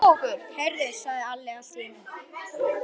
Heyrðu, sagði Alli allt í einu.